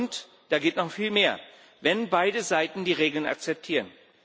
Und da geht noch viel mehr, wenn beide Seiten die Regeln akzeptieren.